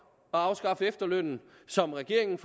at afskaffe efterlønnen som regeringen